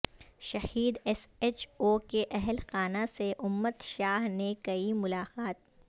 شہید S H O کے اہل خانہ سے امت شاہ نے کی ملاقات